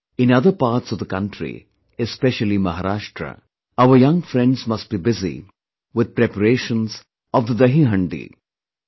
In other parts of the country, especially Maharashtra, our young friends must be busy with preparations of the 'DahiHandi'...